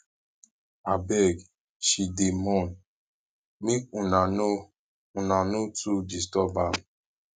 abeg she dey mourn make una no una no too disturb am